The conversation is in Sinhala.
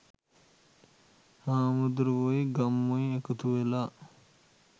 හාමුදුරුවොයි ගම්මුයි එකතුවෙලා